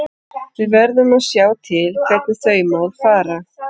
Við verðum að sjá til hvernig þau mál fara.